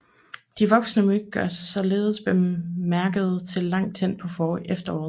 De voksne myg gør sig således bemærkede til langt hen på efteråret